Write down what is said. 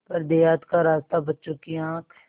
पर देहात का रास्ता बच्चों की आँख